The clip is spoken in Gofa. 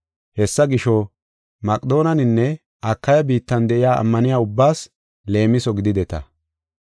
Hessa gisho, Maqedoonenne Akaya biittan de7iya ammaniya ubbaas leemiso gidideta.